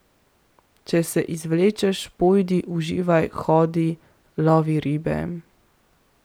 Če se izvlečeš, pojdi, uživaj, hodi, lovi ribe.